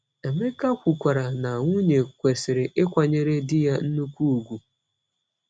Emeka kwukwara na nwunye “kwesịrị ịkwanyere di ya nnukwu ugwu.”